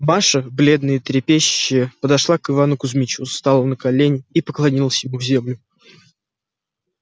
маша бледная и трепещущая подошла к ивану кузмичу стала на колени и поклонилась ему в землю